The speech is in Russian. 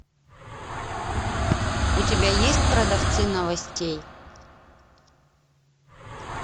у тебя есть продавцы новостей